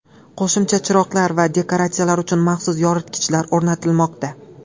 Qo‘shimcha chiroqlar va dekoratsiyalar uchun maxsus yoritgichlar o‘rnatilmoqda.